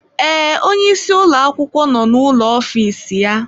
Ee, onye isi ụlọ akwụkwọ nọ n'ụlọ ofiisi ya.